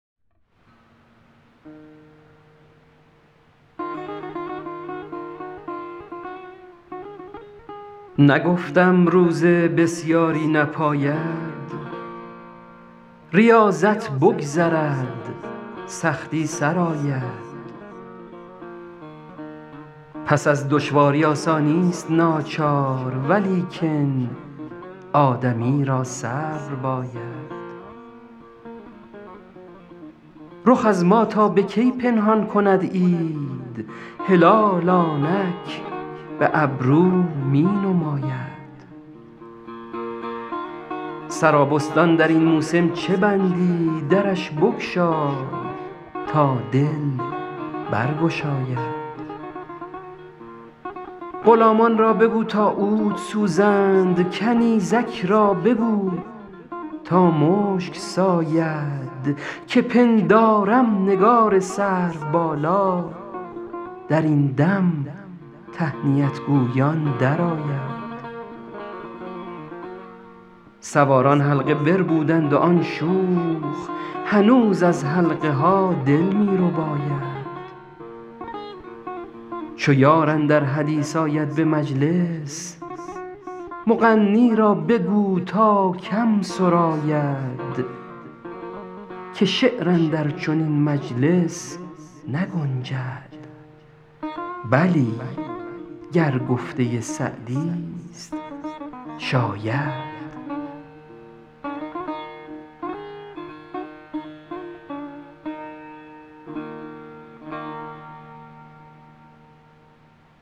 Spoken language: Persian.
نگفتم روزه بسیاری نپاید ریاضت بگذرد سختی سر آید پس از دشواری آسانیست ناچار ولیکن آدمی را صبر باید رخ از ما تا به کی پنهان کند عید هلال آنک به ابرو می نماید سرابستان در این موسم چه بندی درش بگشای تا دل برگشاید غلامان را بگو تا عود سوزند کنیزک را بگو تا مشک ساید که پندارم نگار سروبالا در این دم تهنیت گویان درآید سواران حلقه بربودند و آن شوخ هنوز از حلقه ها دل می رباید چو یار اندر حدیث آید به مجلس مغنی را بگو تا کم سراید که شعر اندر چنین مجلس نگنجد بلی گر گفته سعدیست شاید